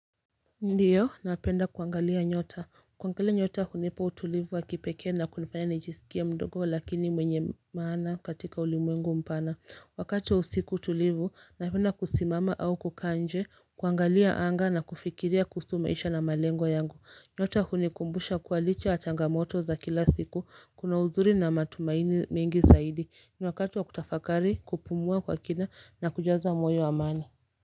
Ndio napenda kuangalia nyota kuangalia nyota hunipa utulivu wakipekee na kunifanya nijisikie mdogo lakini mwenye maana katika ulimwengu mpana wakati wa usiku tulivu napenda kusimama au kukaa nje kuangalia anga na kufikiria kuhusu maisha na malengo yangu. Nyota hunikumbusha kuwa licha yq changamoto za kila siku kuna uzuri na matumaini mengi zaidi ni wakati wa kutafakari kupumua kwa kina na kujaza moyo amani.